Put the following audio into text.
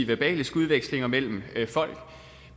verbale skudvekslinger mellem folk